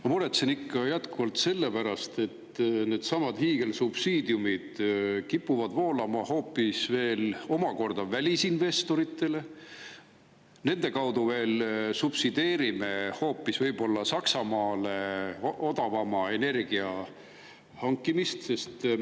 Ma muretsen ikka jätkuvalt selle pärast, et needsamad hiigelsubsiidiumid kipuvad voolama omakorda hoopis välisinvestoritele, nende kaudu subsideerime võib-olla hoopis Saksamaale odavama energia hankimist.